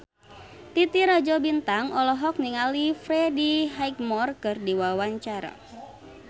Titi Rajo Bintang olohok ningali Freddie Highmore keur diwawancara